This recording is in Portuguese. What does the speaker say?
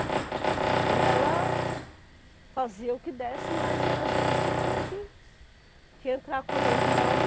Então ela fazia o que desse, mas era a gente que tinha que que entrar com a mão de obra e